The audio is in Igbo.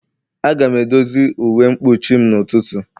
A ga-edozi uwe mkpuchim n'ụtụtụ.